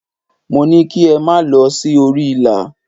Mo ní kí ẹ máa lọ sí orí ìlà.!